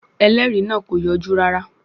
Ẹlẹ́rìí náà kò yọjú rárá.